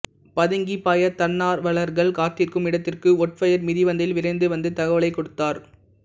பதுங்கிப்பாயப தன்னார்வலர்கள் காத்திருக்கும் இடத்திற்கு ஓட்வயர் மிதிவண்டியில் விரைந்து வந்து தகவல் கொடுத்தார்